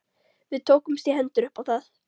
Við tókumst í hendur upp á það.